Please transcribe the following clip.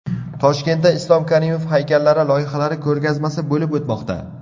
Toshkentda Islom Karimov haykallari loyihalari ko‘rgazmasi bo‘lib o‘tmoqda.